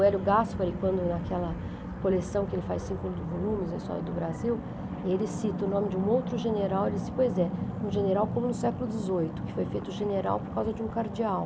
Hélio Gaspari, quando naquela coleção que ele faz cinco volumes, da história do Brasil, ele cita o nome de um outro general, ele disse, pois é, um general como no século dezoito, que foi feito general por causa de um cardeal.